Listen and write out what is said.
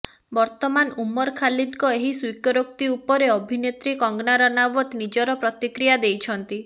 ବର୍ତ୍ତମାନ ଉମର ଖାଲିଦଙ୍କ ଏହି ସ୍ୱୀକାରୋକ୍ତି ଉପରେ ଅଭିନେତ୍ରୀ କଙ୍ଗନା ରାନାୱତ ନିଜର ପ୍ରତିକ୍ରିୟା ଦେଇଛନ୍ତି